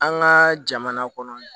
An ka jamana kɔnɔ